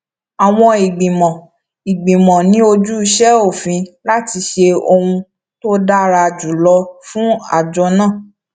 àwọn ìgbìmọ ìgbìmọ ní ojúṣe òfin láti ṣe ohun tó dára jù lọ fún àjọ náà